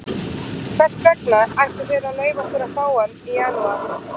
Hvers vegna ættu þeir að leyfa okkur að fá hann í janúar?